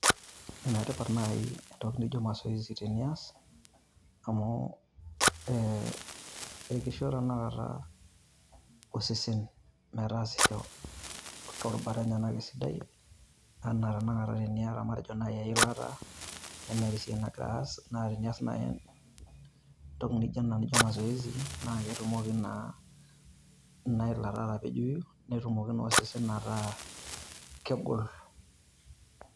Enetipat naaji entoki naijo mazoezi teniyas. Amu ee ekisho tenakata osesen metaasisho too rubat enyenak esidai. Enaa tenakata teniyata matejo naaji eilata nemeeta esiai nagiraa aas naa tenias naaji entoki naijo in naijo mazoezi. Naa ketumoki naa ina ilata atapejoi netumoki naa osesen ataa kegol.